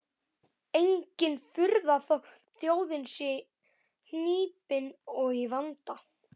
Engin furða þótt þjóðin sé hnípin og í vanda.